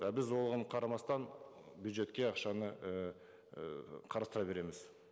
а біз оған қарамастан бюджетке ақшаны ііі қарастыра береміз